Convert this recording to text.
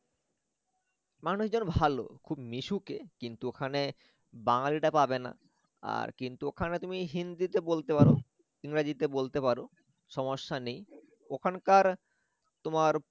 মানুষজন ভাল খুব মিশুকে কিন্ত ওখানে বাঙালি টা পাবেনা আর কিন্ত ওখানে তুমি হিন্দিতে বলতে পারো ইংরাজি তে বলতে পারো সমস্যা নেই ওখানকার তোমার